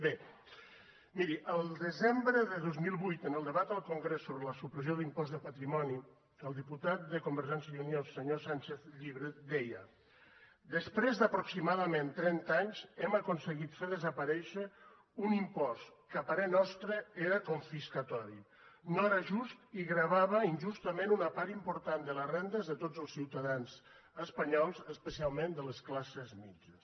bé miri el desembre de dos mil vuit en el debat al congrés sobre la supressió de l’impost del patrimoni el diputat de convergència i unió senyor sánchez llibre deia després d’aproximadament trenta anys hem aconseguit fer desaparèixer un impost que a parer nostre era confiscatori no era just i gravava injustament una part important de les rendes de tots els ciutadans espanyols especialment de les classes mitjanes